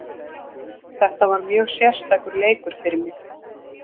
Þetta var mjög sérstakur leikur fyrir mig.